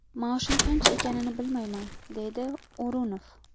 Maoshim qancha ekanini bilmayman”, deydi O‘runov.